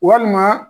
Walima